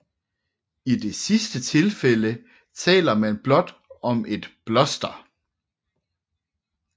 I det sidste tilfælde taler man blot om et bloster